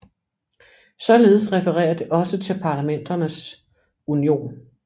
Således referer det også til Parlamenterns Union